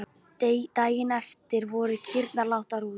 Daginn eftir voru kýrnar látnar út.